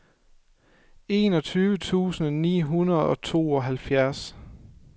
enogtyve tusind ni hundrede og tooghalvfjerds